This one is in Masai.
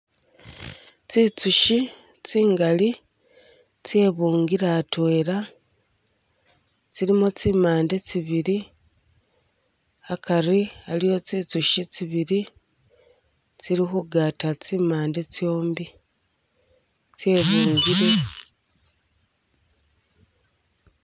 Tsinzushi tsingali tsebungile atwela tsilimo tsimande tsibili akari aliwo tsinzushi tsibili tsili khugata tsimande tsyombi tsyebungile